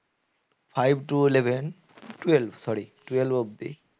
Five to eleven twelve sorry twelve অবদি